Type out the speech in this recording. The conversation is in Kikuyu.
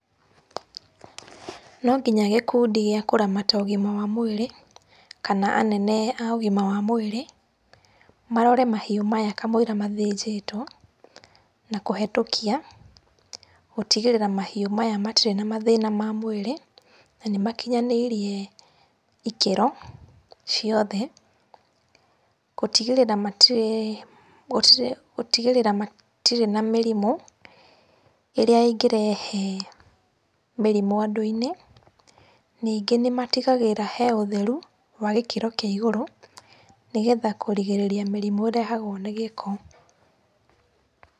No nginya gĩkundi gĩa kũramata ũgima wa mwĩrĩ kana anene a ũgima wa mwĩrĩ, marore mahiũ maya kamũira mathĩnjĩtwo na kũhĩtũkia, gũtigĩrĩra mahiũ maya matirĩ na mathĩna ma mwĩrĩ na nĩmakinyanĩirie ikĩro ciothe gũtigĩrĩra matirĩ, gũtigĩrĩra matirĩ na mĩrimũ ĩrĩa ĩngĩrehe mĩrimũ andũ-inĩ. Ningĩ nĩmatigagĩrĩra he ũtheru wa gĩkĩro kĩa igũrũ, nĩgetha kũrigĩrĩria mĩrimũ ĩrehagwo nĩ gĩko.